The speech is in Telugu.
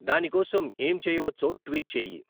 దాని కోసం ఏం చేయవచ్చో ట్వీట్ చేయి